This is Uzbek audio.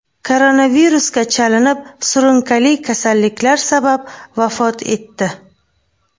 koronavirusga chalinib, surunkali kasalliklar sabab vafot etdi.